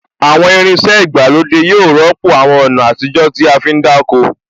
Àwọn irin iṣẹ́ ìgbàlódé yóò rọ́pò àwọn ọ̀nà àtijó tí a fí ń dáko